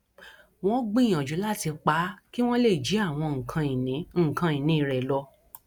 wọn gbìyànjú láti pa á kí wọn lè jí àwọn nǹkan ìní nǹkan ìní rẹ lọ